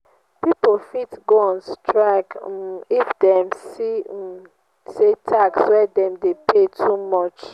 pipo fit go on strike um if dem see um say tax wey dem de pay too much